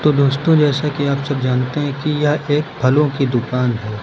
तो दोस्तों जैसा कि आप सब जानते हैं कि यह एक फलों की दुकान है।